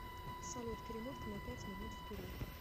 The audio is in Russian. салют перемотка на пять минут вперед